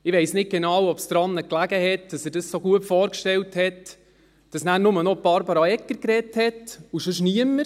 Ich weiss nicht genau, ob es daran lag, dass er das so gut vorgestellt hat, dass nachher nur noch Barbara Egger gesprochen hat und sonst niemand.